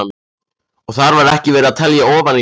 Og þar var ekki verið að telja ofan í mann.